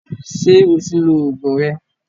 Ṣé o ti lo Ògùn rẹ?